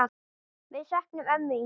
Við söknum ömmu Ingu.